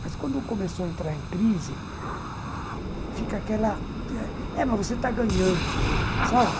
Mas quando começou a entrar em crise, fica aquela... É, mas você está ganhando, sabe?